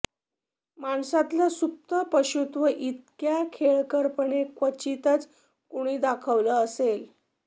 माणसातलं सुप्त पशुत्व इतक्या खेळकरपणे क्वचितच कुणी दाखवलं असेल